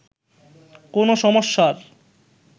কোন সমস্যার